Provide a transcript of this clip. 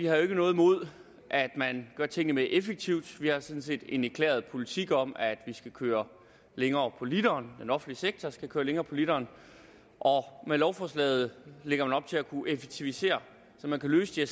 har noget imod at man gør tingene mere effektivt vi har sådan set en erklæret politik om at vi skal køre længere på literen den offentlige sektor skal køre længere på literen og med lovforslaget lægger man op til at kunne effektivisere så man kan løse de